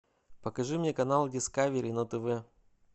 покажи мне канал дискавери на тв